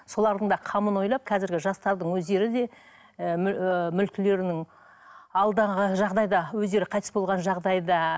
солардың да қамын ойлап қазіргі жастардың өздері де ы ы мүлкілерінің алданған жағдайда өздері қайтыс болған жағдайда